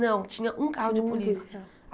Não, tinha um carro de polícia. polícia